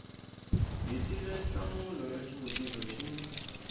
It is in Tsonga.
hetile nhlamulo ya xivutiso xin